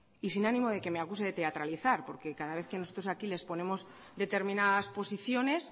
y sin ánimo de que me acuse de teatralizar porque cada vez que nosotros aquí le exponemos determinadas posiciones